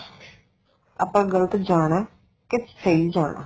ਆਪਾਂ ਗਲਤ ਜਾਣਾ ਕੇ ਸਹੀ ਜਾਣਾ